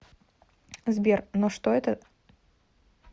сбер но что это